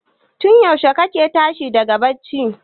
sai yaushe take tashi daga bacci?